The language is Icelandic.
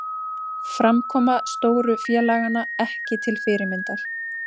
Framkoma stóru félaganna ekki til fyrirmyndar